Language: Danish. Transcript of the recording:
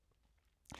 DR2